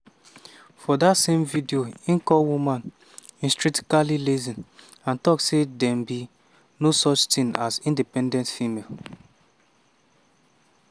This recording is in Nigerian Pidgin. for dat same video e call women "intrinsically lazy" and tok say dem be "no such tin as independent female".